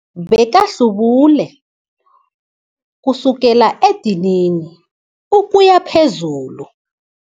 Bekahlubule kusukela edinini ukuya phezulu.